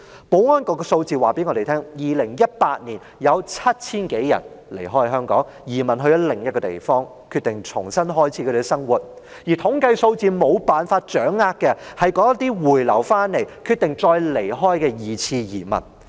保安局的數字告訴我們 ，2018 年有 7,000 多人離開香港，移民到另一個地方，決定重新開始他們的生活，而統計數字無法掌握的，是那些回流香港後決定再離開的"二次移民"。